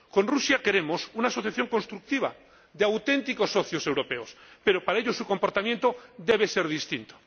Con Rusia queremos una asociación constructiva de auténticos socios europeos, pero para ello su comportamiento debe ser distinto.